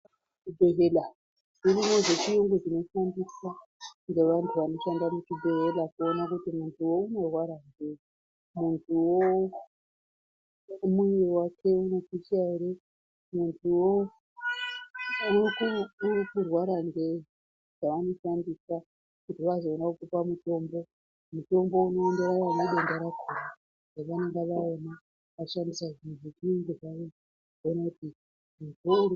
Kuzvibhedhlera dzirimo dzechiyungu dzinoshandiswa ngevandu vanoshande muchibhodhleya kuona kuti mundu uyo unorwara ngeyi mundu woo muwiri wake unosisa here munduwoo Uri kurwara ngeyi dzavanoshandisa kuti vazoona kutipa mutombo mutombo unoenderana nedenda rakona pavanenge vaona vachishandi mishini dzavo idzi.